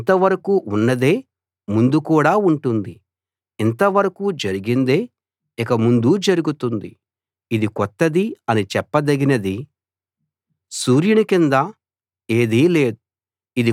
ఇంతవరకూ ఉన్నదే ముందు కూడా ఉంటుంది ఇంతవరకూ జరిగిందే ఇక ముందూ జరుగుతుంది ఇది కొత్తది అని చెప్పదగినది సూర్యుని కింద ఏదీ లేదు